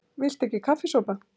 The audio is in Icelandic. VILTU EKKI KAFFISOPA?